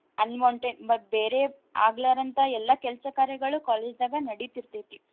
Unwanted ಮತ್ ಬೇರೇ ಆಗ್ಲಾರಂತ ಎಲ್ಲಾ ಕೆಲ್ಸ ಕಾರ್ಯಗಳು college ದಾಗ ನಡೀತಿರ್ತೈತಿ.